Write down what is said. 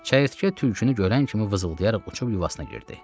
Çəyirtkə tülkünü görən kimi vızıldayaraq uçub yuvasına girdi.